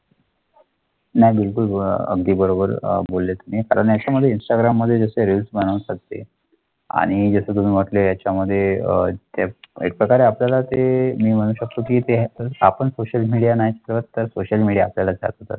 नाही बिलकुल अह आगदी बरोबर अं बोलले तुमही तर त्याच्यामध्ये इंस्टाग्राममध्ये रील्स बनवूते ते आणि तुम्ही त्याच्यामध्ये अह प्रकारे आपल्याला ते म्हणू शकतो की ते आपण सोशल मीडिया नाहीतर तर सोशल मीडियाचा